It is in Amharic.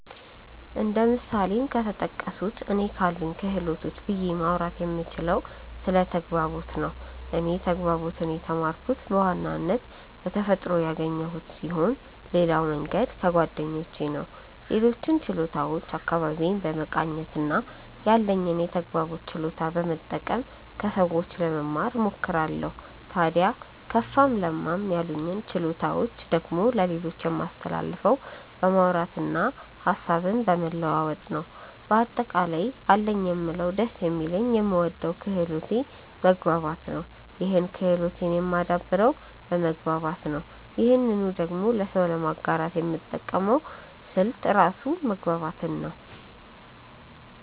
እንደ ምሳሌም ከተጠቀሱት እኔ ካሉኝ ክህሎቶች ብዬ ማውራት የምችለው ስለ ተግባቦት ነው። እኔ ተግባቦትን የተማርኩት በዋናነት በተፈጥሮ ያገኘሁት ስሆን ሌላው መንገድ ከጓደኞቼ ነው። ሌሎችን ችሎታዎች አካባቢዬን በመቃኘት እና ያለኝን የተግባቦት ችሎታ በመጠቀም ከሰዎች ለመማ እሞክራለው። ታድያ ከፋም ለማም ያሉኝን ችሎታዎች ደግሞ ለሌሎች የማስተላልፈው በማውራት እና ሀሳብን በመለዋወጥ ነው። በአጠቃላይ አለኝ የምለው ደስ የሚለኝ የምወደው ክህሎቴ መግባባት ነው ይህን ክህሎቴን የማደብረው በመግባባት ነው ይህንኑ ደግሞ ለሰው ለማጋራት የምጠቀመው ስልት ራሱ መግባባትን ነው።